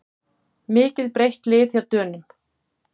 Mikið breytt lið hjá Dönum